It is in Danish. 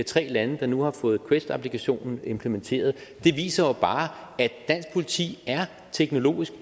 tre lande der nu har fået quest applikationen implementeret viser jo bare at dansk politi teknologisk